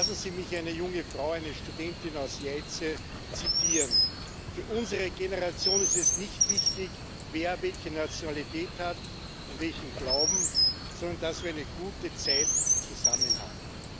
Lassen Sie mich eine junge Frau, eine Studentin, aus Jajce zitieren Für unsere Generation ist es nicht wichtig, wer welche Nationalität hat und welchen Glauben, sondern dass wir eine gute Zeit zusammen haben.